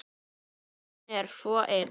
Hann er svo ein